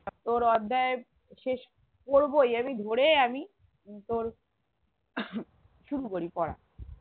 তোর অধ্যায় শেষ করবোই আমি ধরে আমি উম তোর শুরু করি পড়া